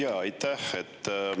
Jaa, aitäh!